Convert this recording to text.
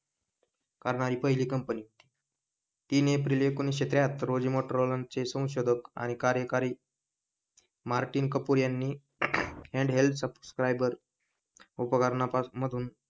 करणारी हि पहिली कंपनी तीन एप्रिल एकोणीसशे त्र्याहत्तर रोजी मोटोरोला ची संशोधक आणि कार्यकारी मार्टिन कपूर यांनी हॅण्डहेल्ड सब्स्क्रिबर उपकारनामधून,